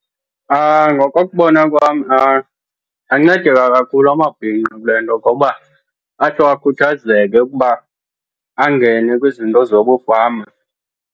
Ngokokubona kwam angancedeka kakhulu amabhinqa kule nto ngokuba atsho akhuthazeke ukuba angene kwizinto zokufama.